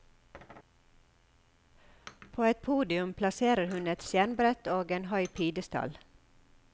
På et podium plasserer hun et skjermbrett og en høy pidestall.